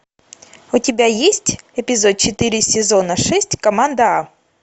у тебя есть эпизод четыре сезона шесть команда а